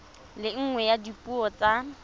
le nngwe ya dipuo tsa